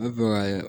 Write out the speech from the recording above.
Ne bɔra